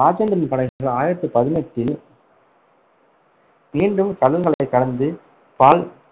ராஜேந்திரனின் படைகள் ஆயிரத்தி பதினெட்டில் மீண்டும் கடல்களைக் கடந்து பால்